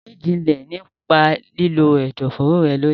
Mí jinlẹ̀ nípa lílo ẹ̀dọ̀foro rẹ lónìí.